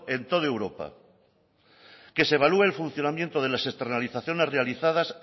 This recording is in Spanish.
en todo europa que se evalúe el funcionamiento de las externalizaciones realizadas